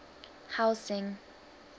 housing